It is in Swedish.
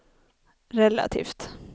relativt